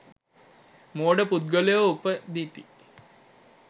මෝඩ පුද්ගලයෝ උපදිති.